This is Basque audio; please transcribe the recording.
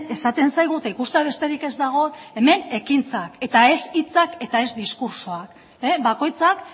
esaten zaigu eta ikustea besterik ez dago hemen ekintzak eta ez hitzak eta ez diskurtsoak bakoitzak